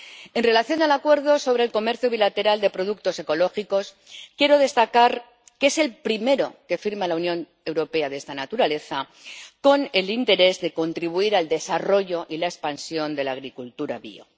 En relación con el Acuerdo sobre el comercio bilateral de productos orgánicos ecológicos, quiero destacar que es el primero que firma la Unión Europea de esta naturaleza con el interés de contribuir al desarrollo y la expansión de la agricultura bío.